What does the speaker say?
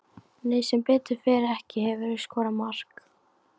Nei sem betur fer ekki Hefurðu skorað mark?